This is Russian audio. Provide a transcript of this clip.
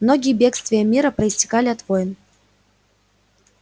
многие бегствия мира проистекали от войн